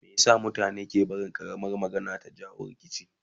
Meye sa mutane ke barin ƙaramar magana ta jawo rikici?